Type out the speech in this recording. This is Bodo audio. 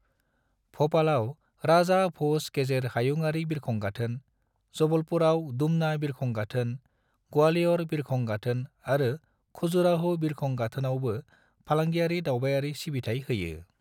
भोपालाव राजा भोज गेजेर हायुंआरि बिरखं गाथोन, जबलपुराव डुमना बिरखं गाथोन, ग्वालियर बिरखं गाथोन आरो खजुराहो बिरखं गाथोनावबो फालांगियारि दावबायारि सिबिथाय होयो।